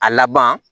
A laban